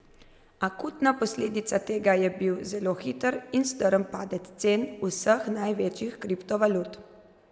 Akutna posledica tega je bil zelo hiter in strm padec cen vseh največjih kriptovalut.